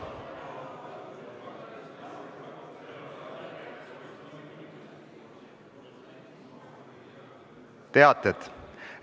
Tänan!